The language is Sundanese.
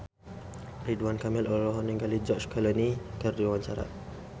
Ridwan Kamil olohok ningali George Clooney keur diwawancara